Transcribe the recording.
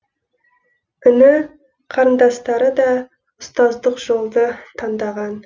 іні қарындастары да ұстаздық жолды таңдаған